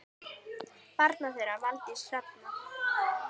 Barn þeirra Valdís Hrafna.